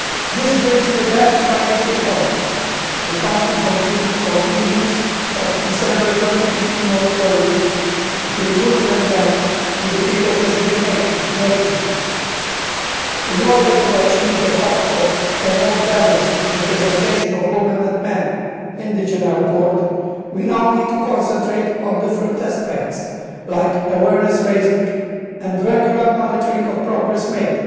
This brings me back to my initial point, the Council conclusions of December 2015 on equality between women and men in the field of decision-making. In order to achieve de facto a more balanced representation of women and men in the General Court, we now need to concentrate on different aspects, such as awareness-raising and regular monitoring of progress made.